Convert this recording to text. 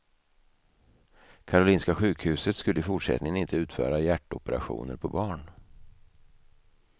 Karolinska sjukhuset skulle i fortsättningen inte utföra hjärtoperationer på barn.